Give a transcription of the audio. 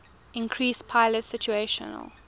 increased pilot situational